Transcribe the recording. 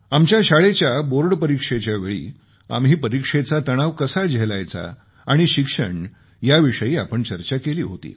आमच्या शाळेच्या बोर्ड परीक्षेच्यावेळी आम्ही परीक्षेचा तणाव कसा झेलायचा आणि शिक्षण याविषयी आपण चर्चा केली होती